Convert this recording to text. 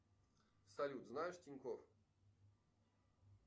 салют знаешь тинькофф